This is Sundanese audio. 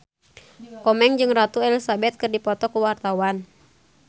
Komeng jeung Ratu Elizabeth keur dipoto ku wartawan